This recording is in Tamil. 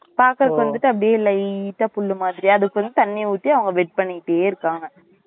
பாக்குறதுக்கு வந்துட்டு அப்டியே lite ஆஹ் புல்லு மாறியே அதுக்கும் தண்ணி ஊத்தி அவங்க wet பண்ணிட்டே இருக்காங்க